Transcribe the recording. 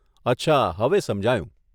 અચ્છા, હવે સમજાયું.